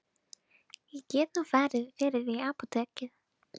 Ég get nú farið fyrir þig í apótekið.